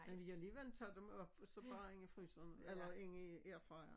Men vi alligevel tager dem op og så bare ind i fryseren eller ind i airfryer